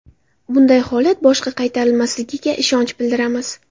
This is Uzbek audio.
Bunday holat boshqa qaytarilmasligiga ishonch bildiramiz.